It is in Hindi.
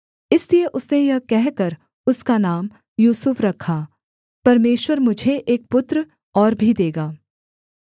इसलिए उसने यह कहकर उसका नाम यूसुफ रखा परमेश्वर मुझे एक पुत्र और भी देगा